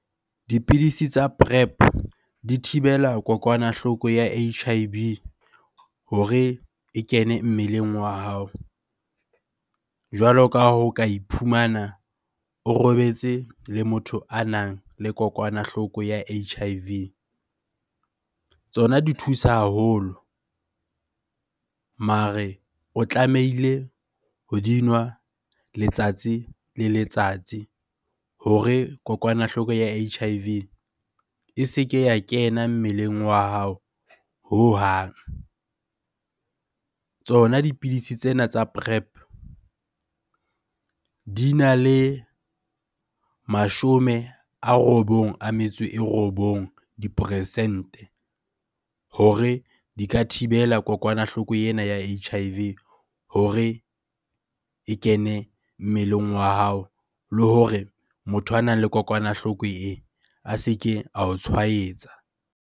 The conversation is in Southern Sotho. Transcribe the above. Dipidisi tsa Prep di thibela kokwanahloko ya H_I_V hore e kene mmeleng wa hao. Jwalo ka ha o ka iphumana o robetse le motho a nang le kokwanahloko ya H_I_V. Tsona di thusa haholo mare o tlamehile ho dinwa letsatsi le letsatsi hore kokwanahloko ya H_I_V e se ke ya kena mmeleng wa hao hohang. Tsona dipidisi tsena tsa Prep di na le mashome a robong a metso e robong, diperesente hore di ka thibela kokwanahloko ena ya H_I_V hore e kene mmeleng wa hao le hore motho a nang le kokwanahloko eo a se ke ao tshwaetsa.